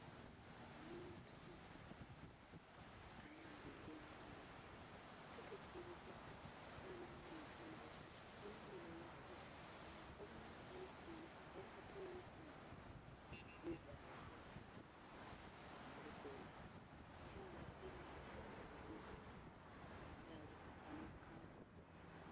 Omuntu ayambaile engoye tategelekeka ela nga alinze mule yenhayenha yebwiise obonhaku mikono ela ate emikono mivaaze gya lugoye ela nga agemye akaghuzi nga alikukanhika.